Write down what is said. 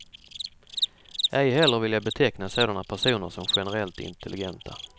Ej heller vill jag beteckna sådana personer som generellt intelligenta.